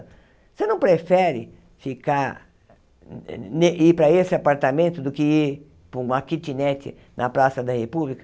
Você não prefere ficar ir para esse apartamento do que ir para uma kitnet na Praça da República?